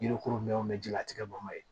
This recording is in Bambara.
Yirikuru mɛnw ji la tigɛ bama ye